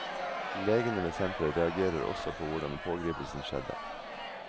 Legene ved senteret reagerer også på hvordan pågripelsen skjedde.